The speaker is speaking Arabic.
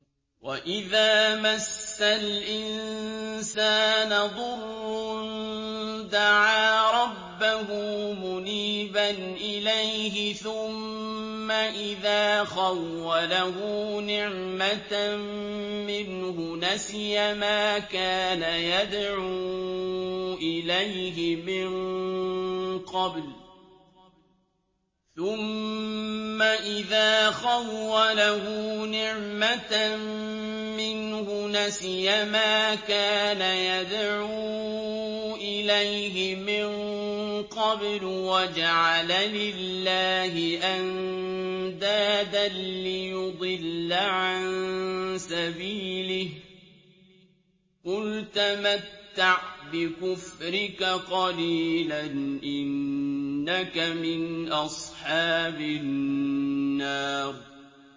۞ وَإِذَا مَسَّ الْإِنسَانَ ضُرٌّ دَعَا رَبَّهُ مُنِيبًا إِلَيْهِ ثُمَّ إِذَا خَوَّلَهُ نِعْمَةً مِّنْهُ نَسِيَ مَا كَانَ يَدْعُو إِلَيْهِ مِن قَبْلُ وَجَعَلَ لِلَّهِ أَندَادًا لِّيُضِلَّ عَن سَبِيلِهِ ۚ قُلْ تَمَتَّعْ بِكُفْرِكَ قَلِيلًا ۖ إِنَّكَ مِنْ أَصْحَابِ النَّارِ